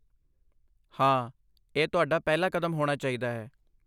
ਹਾਂ, ਇਹ ਤੁਹਾਡਾ ਪਹਿਲਾ ਕਦਮ ਹੋਣਾ ਚਾਹੀਦਾ ਹੈ।